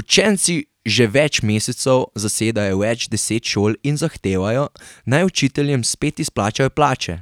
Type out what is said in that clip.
Učenci že več mesecev zasedajo več deset šol in zahtevajo, naj učiteljem spet izplačajo plače,